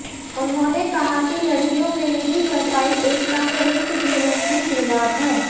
उन्होंने कहा कि लड़कियों में निजी सफाई एक तंगरूस्त जीवन की शुरूआत है